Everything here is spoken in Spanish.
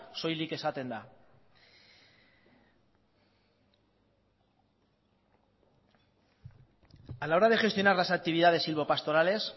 soilik esaten da a la hora de gestionar las actividades silvopastorales